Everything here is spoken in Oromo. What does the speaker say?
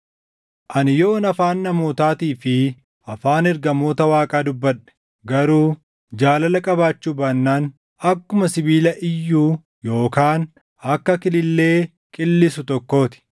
Ani yoon afaan namootaatii fi afaan ergamoota Waaqaa dubbadhe, garuu jaalala qabaachuu baannaan akkuma sibiila iyyuu yookaan akka kilillee qillisu tokkoo ti.